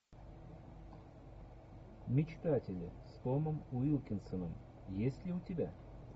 мечтатели с томом уилкинсоном есть ли у тебя